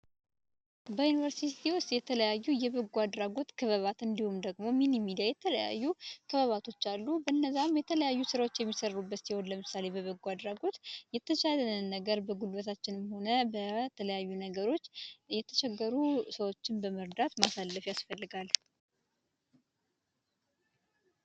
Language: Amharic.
በዩኒቨርሲቲ ውስጥ የተለያዩ የበጎ አድራጎት ክበባት እንዲሁም ደግሞ ሚኒሚዲያ የተለያዩ ክበባቶች አሉ። እነዛም የተለያዩ ሥራዎች የሚሠሩበት ሲሆን፤ ለምሳሌ በበጎ አድራጎት የተቻለንን ነገር በጉበታችንም ሆነ በተለያዩ ነገሮች እየተቸገሩ ሰዎችን በመርዳት ማሳለፍ ያስፈልጋል።